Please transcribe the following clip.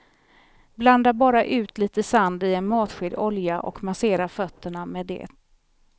Blanda bara ut lite sand i en matsked olja och massera fötterna med det.